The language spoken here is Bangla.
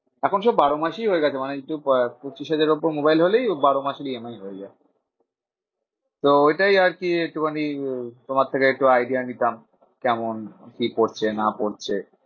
এখন সব বারো মাসই হয়ে গেছে মানে পঁচিশ হাজারের উপর মোবাইল হলেই বারো মাস EMI হয়ে যায়। তো এটাই আরকি একটুখানি তোমার থেকে একটু idea নিতাম। কেমন কি পড়ছে না পড়ছে?